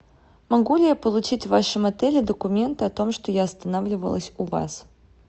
могу ли я получить в вашем отеле документы о том что я останавливалась у вас